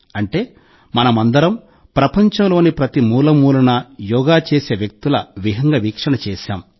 అంటే మనమందరం ప్రపంచంలోని ప్రతి మూలమూలనా యోగా చేసే వ్యక్తుల విహంగ వీక్షణం చేశాం